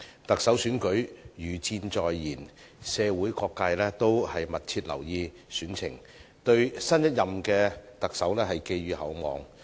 特首選舉如箭在弦，社會各界都密切留意選情，對新一任特首寄予厚望。